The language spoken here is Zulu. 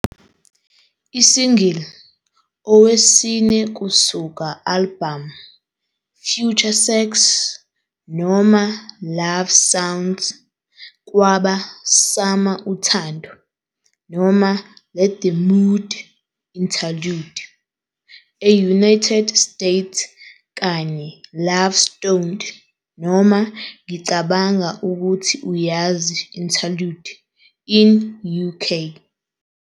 I single owesine kusuka albhamu FutureSex - LoveSounds kwaba "Summer uthando - Let the mood, Interlude," e-United States kanye "LoveStoned - Ngicabanga ukuthi uyazi, Interlude," in UK.